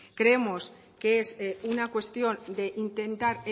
creemos que es una cuestión de intentar